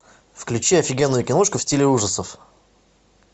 включи офигенную киношку в стиле ужасов